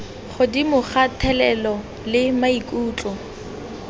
godimo ka thelelo le maikutlo